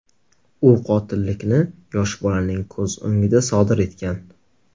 U qotillikni yosh bolaning ko‘z o‘ngida sodir etgan.